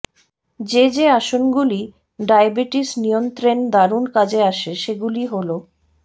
যে যে আসনগুলি ডায়াবেটিস নিয়ন্ত্রেন দারুন কাজে আসে সেগুলি হল